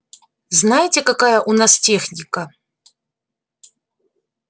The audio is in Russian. знаете какая у нас техника